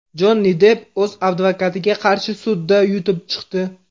Jonni Depp o‘z advokatiga qarshi sudda yutib chiqdi.